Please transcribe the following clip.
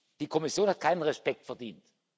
Die Kommission hat keinen Respekt verdient.